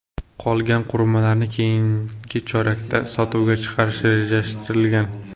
Qolgan qurilmalarni keyingi chorakda sotuvga chiqarish rejalashtirilgan.